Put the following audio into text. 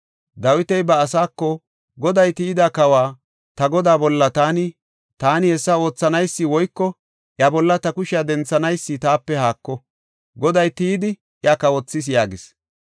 Dawiti ba asaako, “Goday tiyida kawa, ta godaa bolla taani hessa oothanaysi woyko iya bolla ta kushiya denthanaysi taape haako; Goday tiyidi iya kawothis” yaagis.